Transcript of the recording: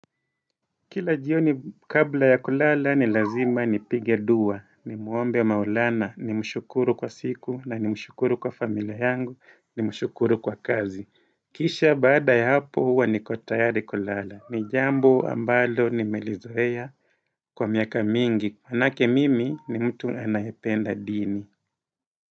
Kila jioni kabla ya kulala ni lazima ni pigedua ni muombe ya maulana ni mshukuru kwa siku na ni mshukuru kwa familia yangu ni mshukuru kwa kazi Kisha baada ya hapo huwa ni kotayari kulala ni jambo ambalo nimelizoea kwa miaka mingi manake mimi ni mtu anayependa dini.